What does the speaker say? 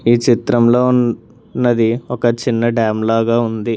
ఈ చిత్రంలో ఉన్నది ఒక చిన్న డ్యామ్ లాగా ఉంది.